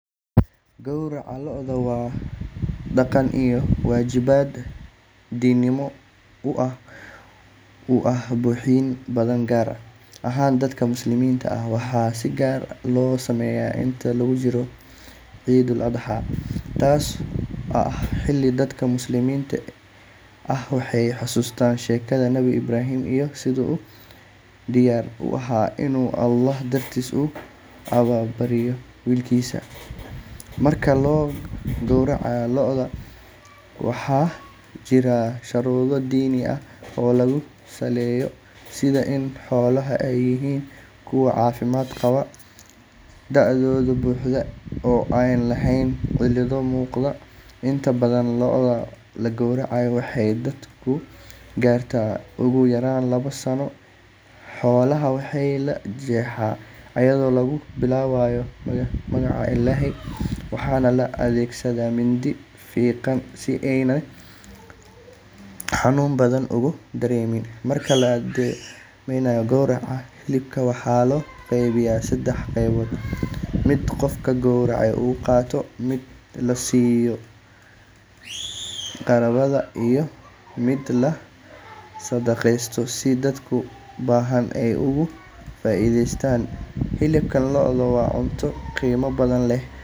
Gowraca lo’da waa dhaqan iyo waajibaad diinimo oo muhiim u ah bulshooyin badan gaar ahaan dadka Muslimiinta ah. Waxaa si gaar ah loo sameeyaa inta lagu jiro ciidda Eid al-Adha, taasoo ah xilli dadka Muslimiinta ah ay xasuustaan sheekada Nabi Ibraahim iyo siduu u diyaar u ahaa inuu Allaah dartiis u allabariyo wiilkiisa. Marka la gowracayo lo’da, waxaa jira shuruudo diini ah oo lagu saleeyo sida in xoolaha ay yihiin kuwo caafimaad qaba, da’doodu buuxday oo aan lahayn cilado muuqda. Inta badan lo’da la gowraco waxay da’doodu gaartaa ugu yaraan labo sano. Xoolaha waxaa la jeexaa iyadoo lagu bilaabayo magaca Ilaahay, waxaana la adeegsadaa mindi fiiqan si aanay xanuun badan ugu dareemin. Marka la dhammeeyo gowraca, hilibka waxaa loo qeybiyaa saddex qaybood: mid qofka gowracay uu qaato, mid la siiyo qaraabada, iyo mid la sadaqeeyo si dadka baahan ay uga faa’iideystaan. Hilibka lo’da waa cunto qiimo badan leh.